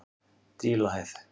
Dílahæð